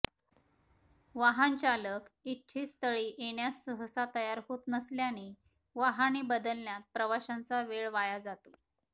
वाहनचालक इच्छितस्थळी येण्यास सहसा तयार होत नसल्याने वाहने बदलण्यात प्रवाशांचा वेळ वाया जातो